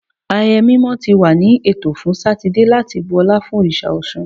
Ayẹyẹ mimọ ti wa ni eto fun Satidee lati bu ọla fun oriṣa Ọṣun